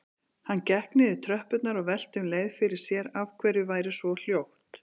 Hann gekk niður tröppurnar og velti um leið fyrir sér af hverju væri svo hljótt.